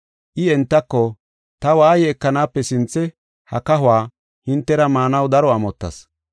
I entako, “Ta waaye ekanaape sinthe ha kahuwa hintera maanaw daro amottas.